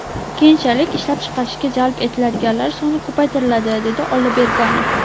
Keyinchalik ishlab chiqarishga jalb etiladiganlar soni ko‘paytiriladi”, dedi Olloberganov.